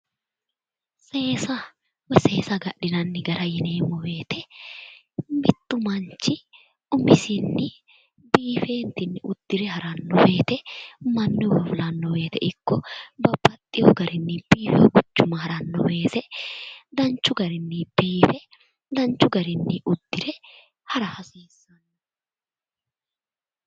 Seesa woy seesa agadhinanni gara yineemmo woyte mittu manchi umisinni biife uddire haranno woyte mannuywa fulanno woyte ikko babbaxeewo garinni biife quchuma haranno woyte babbaxewo garinni hara hasiissanno